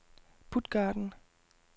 Puttgarden